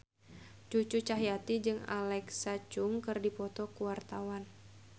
Cucu Cahyati jeung Alexa Chung keur dipoto ku wartawan